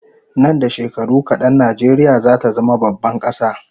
Nan da shekaru kadan Najeriya zata zama baban kasa